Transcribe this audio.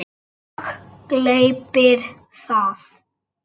Og gleypir það.